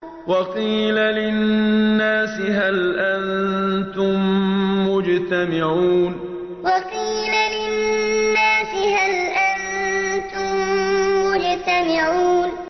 وَقِيلَ لِلنَّاسِ هَلْ أَنتُم مُّجْتَمِعُونَ وَقِيلَ لِلنَّاسِ هَلْ أَنتُم مُّجْتَمِعُونَ